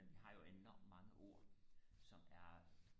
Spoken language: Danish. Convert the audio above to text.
men vi har jo enormt mange ord som er